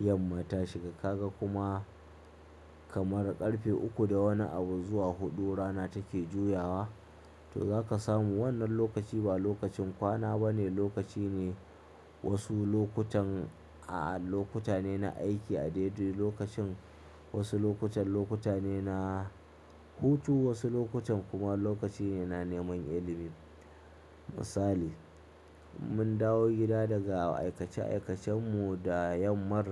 yamma ta shiga, ka ga kuma kamar ƙarfe uku da wani abu zuwa huɗu rana take juyawa to zaka samu wannan lokaci ba lokacin kwana ba ne, lokaci ne wasu lokutan a lokuta ne na aiki a daidai lokacin, wasu lokutan lokuta ne na hutu, wasu lokutan kuma lokaci ne na neman ilimi. Misali, mun dawo gida daga aikace aikacen mu da yamma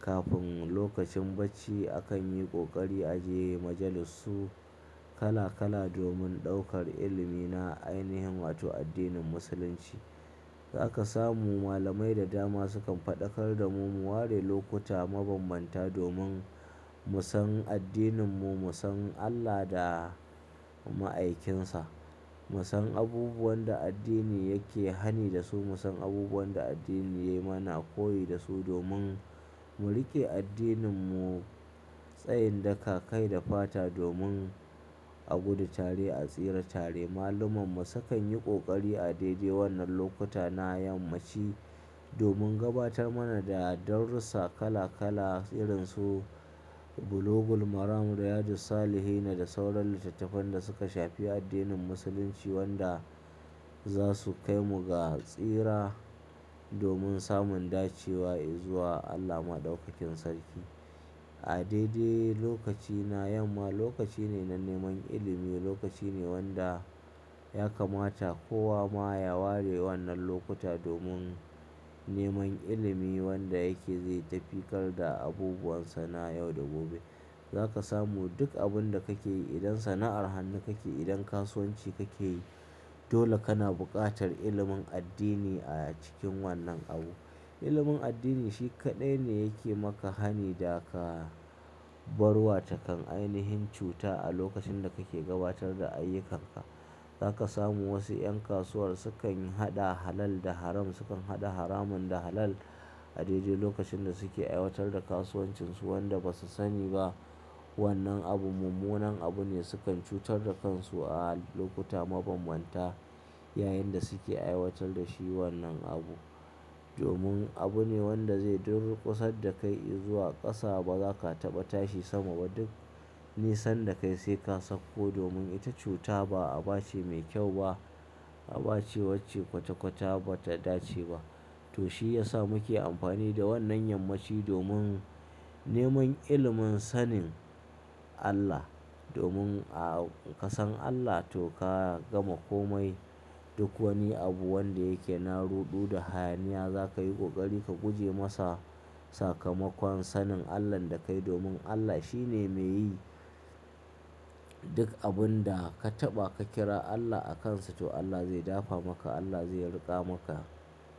kafin lokacin bacci akan yi kokari a je majalisu. Kala kala domin ɗaukar ilimi na ainihin na wato addinin Musulunci. Zaka samu malamai da dama sukan faɗakar da mu mu ware lokuta mabanbanta domin mu san addininmu, mu san Allah da ma'aikinsa, mu san abubuwan da addini yake hani da su, mu san abubuwan da addini ya mana koyi da su domin mu riƙe addininmu tsayin dakakai da fata domin a gudu tare a tsira tare. Mallamummu sukan yi kokari a daidai wannan lokuta na yammaci domin gabatar mana da darussa kala kala irin su Bulugul Maram, Riyadu-s-Salihin da sauran littattafan da suka shafi addinin musulunci wanda za su kai mu ga tsira domin samun dacewa i zuwa Allah Maɗaukakin Sarki. A daidai lokaci na yamma lokaci ne na neman ilimi, lokaci ne wanda ya kamata kowa ma ya ware wannan lokuta domin neman ilimi wanda yake zai tafi ƙar da abubuwan sana yau da gobe. Zaka samu duk abun da kake yi idan sana'ar hannu kake yi, idan kasuwanci kake yi dole kana buƙatar ilimin addini a cikin wannan abu. Ilimin addini shi kaɗai ne yake maka hani da ka bar wa takan ainihin cuta a lokacin da kake gabatar da ayyukanka. Zaka samu wasu 'yan kasuwar sukan haɗa halal da haram, sukan haɗa haramun da halal a daidai lokacin da suke aiwatar da kasuwancinsu wanda ba su sani ba. Wannan abu mummunan abu ne sukan cutar da kansu a lokuta mabanbanta yayin da suke aiwatar da shi wannan abu. Domin abu ne wanda zai durƙusa da kai i zuwa ƙasa ba za ka taɓa tashi sama ba duk nisan da kai sai ka sakko domin ita cuta ba aba ce mai kyau ba, aba ce wacce kwata kwata bata dace ba. To shi ya sa muke amfani da wannan yammaci domin neman ilimin sanin Allah. Domin a ka san Allah to ka gama komai. Duk wani abu wanda yake na ruɗu da hayaniya za ka yi kokari ka guje masa sakamakon sanin Allahn da kai domin Allah shi ne mai yi duk abun da ka taɓa ka kira Allah a kansa to Allah zai dafa maka, Allah zai riƙa maka.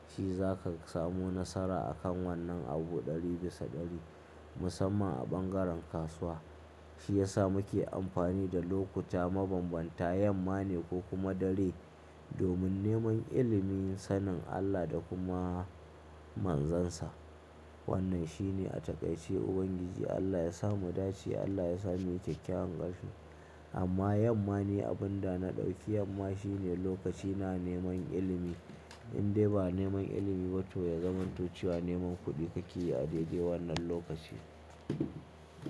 Shi za ka samu nasara a kan wannan abu ɗari bisa ɗari musamman a bangaren kasuwa. Shi ya sa muke amfani da lokuta mabanbanta, yamma ne ko kuma dare domin neman ilimin sanin Allah da kuma manzansa. Wannan shi ne a taƙaice Ubangiji Allah ya sa mu dace, Allah ya sa mu yi kyakyawan ƙarshe. Amma yamma ne abun da na ɗauki, yamma shi ne lokaci na neman ilimi. In dai ba neman ilimi ba to ya zamantociwa neman kuɗi kake yi a daidai wannan lokaci.